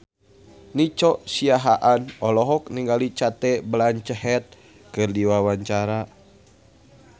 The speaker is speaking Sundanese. Nico Siahaan olohok ningali Cate Blanchett keur diwawancara